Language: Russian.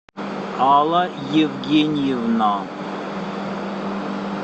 алла евгеньевна